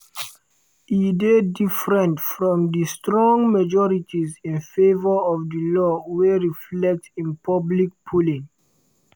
e dey different from di strong majorities in favour of di law wey reflect in public polling.